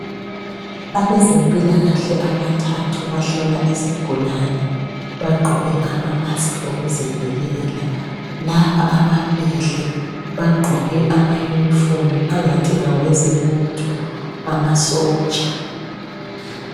Abezempilakahle abathathu bahlola isigulane bagqoke amamask okuzivikela. Laba ababili bagqoke amauniform angathi ngawezebutho amasotsha.